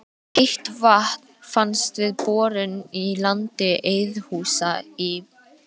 Heitt vatn fannst við borun í landi Eiðhúsa í